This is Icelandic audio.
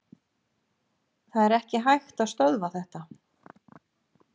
Það er ekki hægt að stöðva þetta.